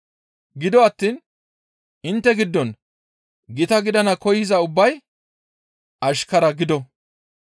Gido attiin intte giddon gita gidana koyza ubbay ashkara gido.